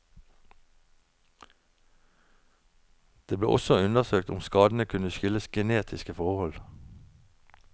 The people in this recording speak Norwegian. Det ble også undersøkt om skadene kunne skyldes genetiske forhold.